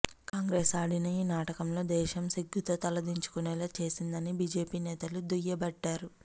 కాంగ్రెస్ ఆడిన ఈ నాటకంలో దేశం సిగ్గుతో తలదించుకునేలా చేసిందని బిజెపి నేతలు దుయ్యబట్టారు